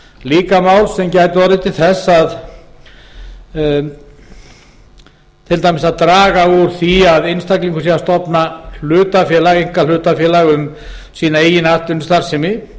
líka mál sem gæti orðið til þess til dæmis að draga úr því að einstaklingur sé að stofna einkahlutafélag um sína eigin atvinnustarfsemi